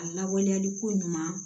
A lawaleyali ko ɲuman